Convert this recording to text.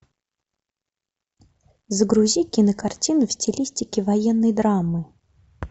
загрузи кинокартину в стилистике военной драмы